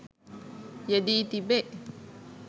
යෙදී තිබේ.